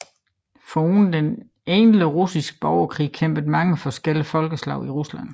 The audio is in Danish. Foruden den egentlige russiske borgerkrig kæmpede mange forskellige folkeslag i Rusland